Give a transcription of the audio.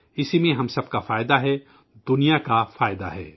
اسی میں ہم سب کا مفاد ہے، دنیا کا مفاد ہے